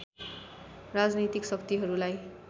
राजनैतिक शक्तिहरूलाई